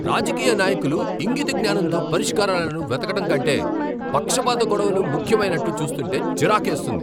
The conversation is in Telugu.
రాజకీయ నాయకులు ఇంగిత జ్ఞానంతో పరిష్కారాలను వెతకటం కంటే పక్షపాత గొడవలు ముఖ్యమన్నట్టు చూస్తుంటే చిరాకేస్తుంది.